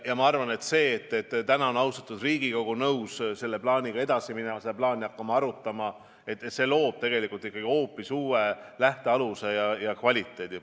Ja minu arvates see, et täna on austatud Riigikogu nõus selle plaaniga edasi minema, seda plaani hakkama arutama, loob tegelikult ikkagi hoopis uue lähtealuse ja kvaliteedi.